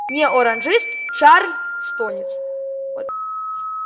не оранжист чарльстонец